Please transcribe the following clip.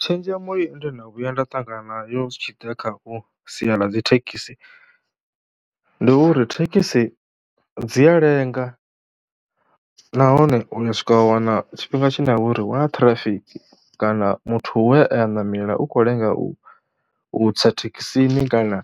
Tshenzhemo ine ndo no vhuya nda ṱangana yo zwi tshi ḓa kha sia ḽa dzi thekhisi, ndi uri thekhisi dzi a lenga nahone u ya swika a wana tshifhinga tshine ha vha uri hu na ṱhirafiki kana muthu we a ṋamela u khou lenga u u tsa thekhisini, kana